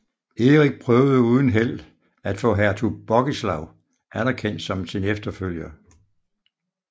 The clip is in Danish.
Erik prøvede uden held at få hertug Bogislaw anerkendt som sin efterfølger